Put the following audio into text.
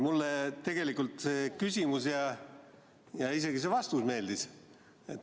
Mulle tegelikult see küsimus ja isegi see vastus meeldis.